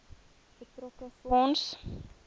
betrokke fonds